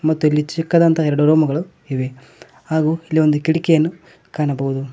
ಮತ್ತು ಇಲ್ಲಿ ಚಿಕ್ಕದಂತಹ ಎರಡು ರೂಮ್ ಇವೆ ಹಾಗು ಇಲ್ಲಿ ಒಂದು ಕಿಟಕಿಯನ್ನು ಕಾಣಬಹುದು.